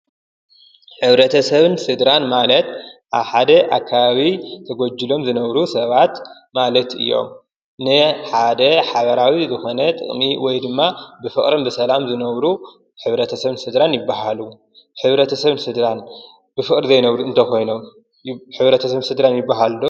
ሕብረተሰብን ስድራን ማለት ኣብ ሓደ ኣከባቢ ተጎጅሎም ዝነብሩ ሰባት ማለት እዮም፡፡ ናይ ሓደ ሓበራዊ ዝኮነ ጥቅሚ ወይ ድማ ብፍቀሪ ብሰላም ዝነብሩ ሕብረተሰብን ስድራን ይባሃሉ፡፡ ሕብረተሰብን ስድራን ብፍቅሪ ዘይነብሩ እንተኮይኖም ሕብረተሰብን ስድራን ይባሃሉ ዶ?